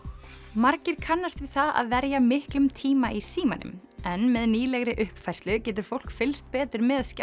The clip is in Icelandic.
margir kannast við það að verja miklum tíma í símanum en með nýlegri uppfærslu getur fólk fylgst betur með